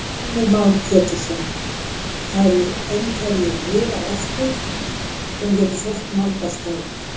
Heimir Már Pétursson: Það eru einhverjir miðar eftir, hvernig getur fólk nálgast þá?